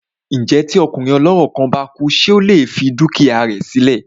Ǹjẹ́ tí ọkùnrin ọlọ́rọ̀ kan bá kú ṣé ó lè fi dúkìá rẹ sí lẹ̀?